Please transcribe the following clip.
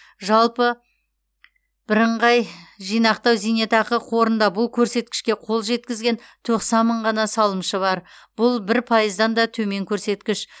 жалпы бірыңғай жинақтау зейнетақы қорында бұл көрсеткішке қол жеткізген тоқсан мың ғана салымшы бар бұл бір пайыздан да төмен көрсеткіш